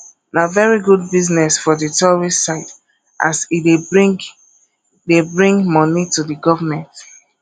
na very good business for di tourist side as e dey bring dey bring money to di government